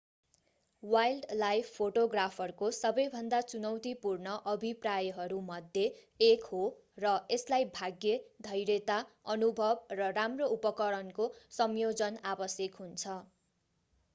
wildlife फोटोग्राफरको सबैभन्दा चुनौतीपूर्ण अभिप्रायहरू मध्ये एक हो र यसलाई भाग्य धैर्यता अनुभव र राम्रो उपकरणको संयोजन आवश्यक हुन्छ